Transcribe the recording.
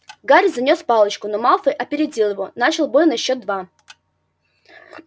гарри занёс палочку но малфой опередил его начал бой на счёт два